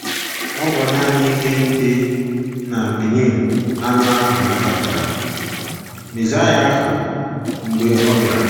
Ọ bụ nanị ihe ndi n’Benin anụ ahụ nabatara Mesaịa ahụ mgbe ọ bịara.